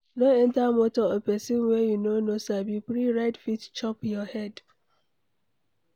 No enter motor of pesin wey you no sabi, free ride fit chop your head